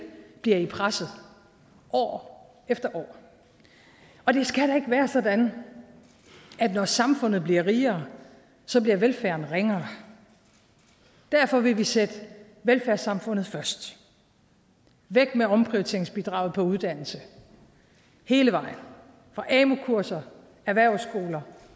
bliver i presset år efter år og det skal da ikke være sådan at når samfundet bliver rigere så bliver velfærden ringere derfor vil vi sætte velfærdssamfundet først væk med omprioriteringsbidraget på uddannelse hele vejen fra amu kurser erhvervsskoler